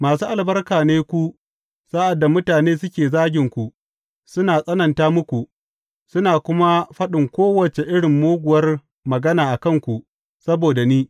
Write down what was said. Masu albarka ne ku, sa’ad da mutane suke zaginku, suna tsananta muku, suna kuma faɗin kowace irin muguwar magana a kanku saboda ni.